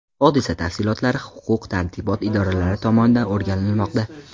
Hodisa tafsilotlari huquq-tartibot idoralari tomonidan o‘rganilmoqda.